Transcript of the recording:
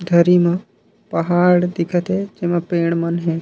धरी मा पहाड़ दिखा थे जेमा पेड़ मन हे।